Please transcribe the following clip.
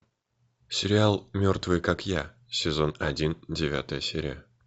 сериал мертвые как я сезон один девятая серия